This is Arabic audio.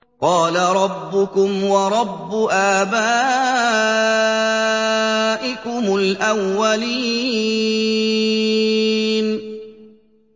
قَالَ رَبُّكُمْ وَرَبُّ آبَائِكُمُ الْأَوَّلِينَ